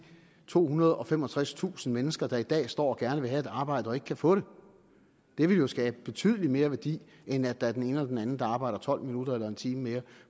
tohundrede og femogtredstusind mennesker der i dag står og gerne vil have et arbejde og ikke kan få det det ville jo skabe betydelig mere værdi end at der er den ene eller den anden der arbejder tolv minutter eller en time mere